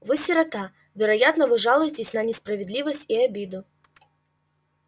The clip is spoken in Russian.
вы сирота вероятно вы жалуетесь на несправедливость и обиду